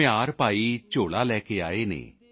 ਕੁਮਹਾਰ ਭਾਈ ਝੋਲਾ ਲੈ ਕੇ ਆਏ ਨੇ